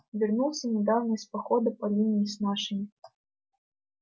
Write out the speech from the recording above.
вернулся недавно из похода по линии с нашими